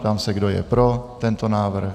Ptám se, kdo je pro tento návrh.